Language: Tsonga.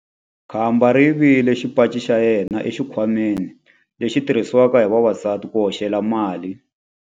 Khamba ri yivile xipaci xa yena exikhwameni lexi xi tirhisiwaka hi vavasati ku hoxela mali.